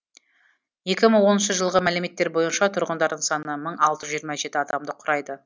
екі мың оныншы жылғы мәліметтер бойынша тұрғындарының саны мың алты жүз жиырма жеті адамды құрайды